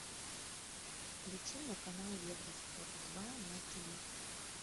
включи мне канал евроспорт два на тиви